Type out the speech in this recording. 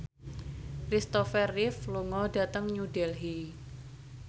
Kristopher Reeve lunga dhateng New Delhi